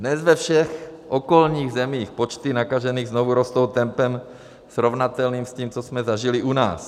Dnes ve všech okolních zemích počty nakažených znovu rostou tempem srovnatelným s tím, co jsme zažili u nás.